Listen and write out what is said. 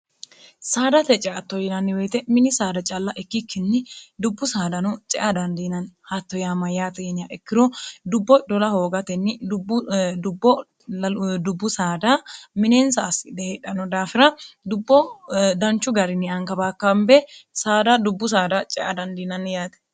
saadate ceatto yinanniweyite mini saada calla ikkikkinni dubbu saadano cea dandiinanni hatto yaa ma yaaxiinya ikkiro dubbo idola hoogatenni bbo dubbu saada mineensa assidhe heedhano daafira dubbo danchu garinni ankabaakkaambe saada dubbu saada cea dandiinanni yaate